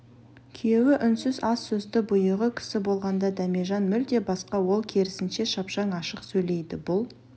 күйеуі үнсіз аз сөзді бұйығы кісі болғанда дәмежан мүлде басқа ол керісінше шапшаң ашық сөйлейді бұл